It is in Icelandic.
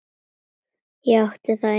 Ég átti það eina sem